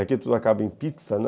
Aqui tudo acaba em pizza, né?